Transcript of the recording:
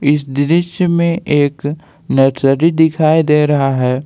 इस दृश्य में एक नर्सरी दिखाई दे रहा है।